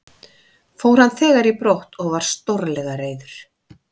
Fór hann þegar í brott og var stórlega reiður.